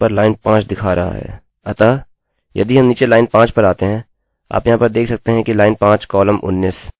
अतः यदि हम नीचे लाइन 5 पर आते हैं आप यहाँ पर देख सकते हैं कि line 5 comma 19 ln5 col19 हमें सारी सूचना मिल गयी है